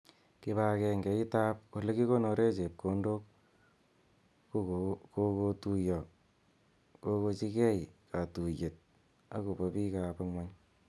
Kipagenge it ab olekikonore chepkondok kokotuyo kokochikei katuyet akopo bik ab ng'ony.